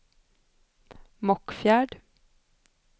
Mockfjärd